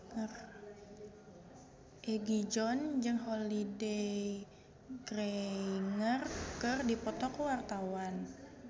Egi John jeung Holliday Grainger keur dipoto ku wartawan